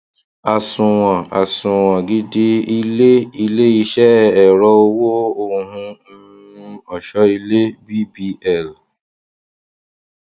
àsunwon àsunwon gidi ilé iléiṣẹ ẹrọ owó ohun um ọṣọilé cs] bbl